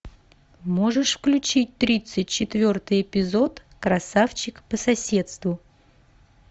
можешь включить тридцать четвертый эпизод красавчик по соседству